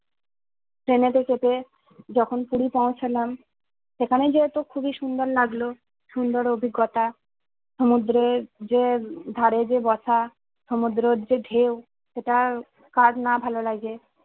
ট্রেনেতে চেপে যখন পুরি পৌছালাম সেখানে যেয়ে তো খুবই সুন্দর লাগলো সুন্দর অভিজ্ঞতা সুমুদ্রে যে ধারে যে বসা সুমুদ্রর যে ঢেউ সেটা কার না ভালো লাগে